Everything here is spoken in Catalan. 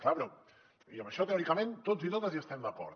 clar amb això teòricament tots i totes hi estem d’acord